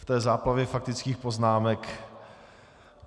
V té záplavě faktických poznámek...